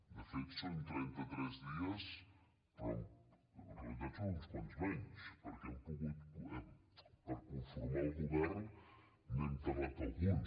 de fet són trenta tres dies però en realitat són uns quants menys perquè per conformar el govern n’hem tardat alguns